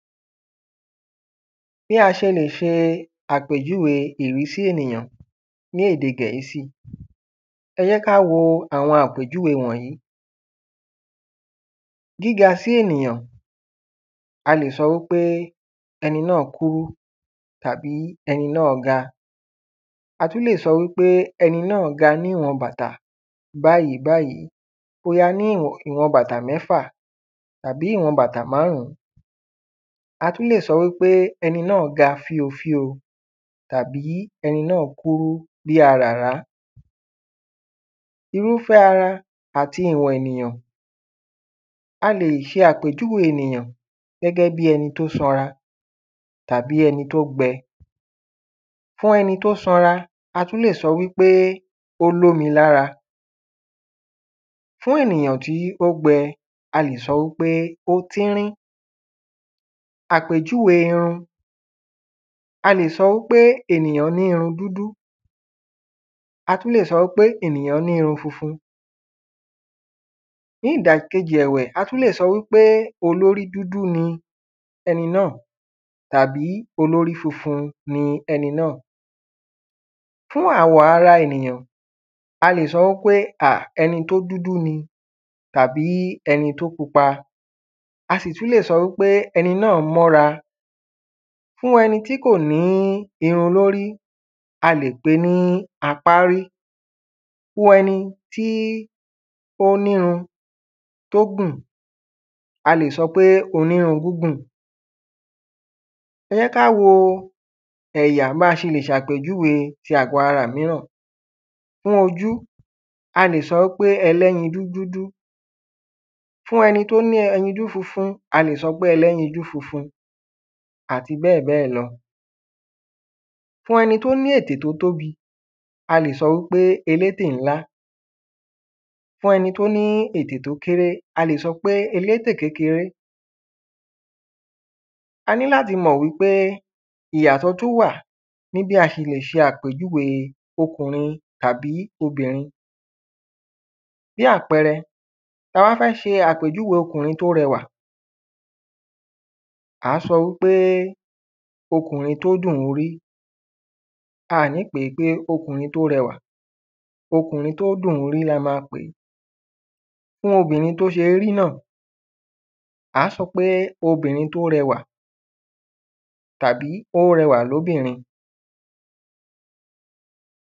Bí a ṣe lè ṣe àpèjúwe ìrísí ènìyàn ní èdè gẹ̀ẹ́sì. Ẹ jẹ́ ká wo àwọn àpèjúwe wọ̀nyìí gíga sí ènìyàn a lè sọ wípé ẹni náà kúrú tàbí ẹni náà ga a tún lè sọ wípé ẹni náà ga bí bàtà báyìí báyìí bóyá ní ìwọ̀n bàtà mẹ́fà tàbí ìwọ̀n bàtà márùn. A tún lè sọ wípé ẹni náà ga fío fío tàbí ẹni náà kúrú bí aràrá. Irúfẹ́ ara àti ìwọ̀n ènìyàn a lè ṣe àpèjúwe ènìyàn gẹ́gẹ́ bí ẹni tó sanra tàbí ẹni tó gbẹ fún ẹni tó sanra a tún lè sọ wípé ó lómi lára fún ènìyàn tí ó gbẹ a lè sọ wípé ó tínrín. Àpèjúwe irun a lè sọ wípé ènìyàn ní irun dúdú a tún lè sọ wípé ènìyàn ní irun funfun ní ìdà kejì ẹ̀wẹ̀ a tún lè sọ wípé olórí dúdú ni ẹni náà tàbí olórí funfun ni ẹni náà. Fún àwọ̀ ara ènìyàn a lè sọ wípé à ẹni tó dúdú ni tàbí ẹni tó pupa a sì tún lè sọ wípé ẹni náà mọ́ra. Fún ẹni tí kò ní irun lórí a lè pé ní apárí fún ẹni tí ó nírun tó gùn a lè sọ pé onírun gúngùn. Ẹ jẹ́ ká wo ẹ̀yà bí a ṣe lè ṣàpèjúwe ẹ̀yà ara míràn fún ojú a lè sọ pé ẹlẹ́yinjú dúdú fún ẹni tó ní ẹyinjú funfun a lè sọ pé ẹlẹ́yinjú funfun àti bẹ́ẹ̀ bẹ́ẹ̀ lọ. fún ẹni tó ní ètè tó tóbi a lè sọ wípé elétè ńlá fún ẹni tó ní ètè tó kéré a lè sọ wípé elétè kékeré. A ní láti mọ̀ wípé ìyàtọ̀ tún wà ní bí a ṣe le ṣàpèjúwe ọkùnrin tàbí obìnrin bí àpẹrẹ tá bá fẹ́ ṣe àpèjúwe ọkùnrin tó rẹwà à á sọ wípé ọkùnrin tó dùn rí a à ní pèé ní ọkùnrin tó rẹwà ọkùnrin tó dùn rí la má pèé fún obìnrin tó ṣé rí náà à á sọ pé obìnrin tó rẹwà tàbí ó rẹwà lóbìnrin.